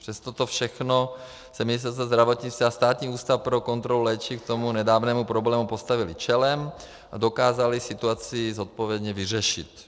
Přes toto všechno se Ministerstvo zdravotnictví a Státní ústav pro kontrolu léčiv k tomu nedávnému problému postavily čelem a dokázaly situaci zodpovědně vyřešit.